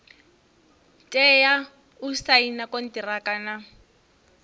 tea u saina konṱiraka na